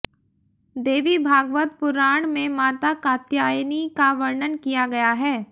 देवीभागवत पुराण में माता कात्यायनी का वर्णन किया गया है